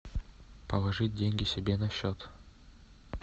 положить деньги себе на счет